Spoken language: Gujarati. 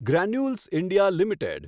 granules India limited